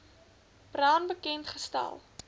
brown bekend gestel